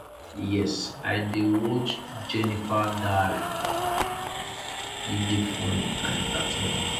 yes i dey watch jenifas diary e dey funny and entertaining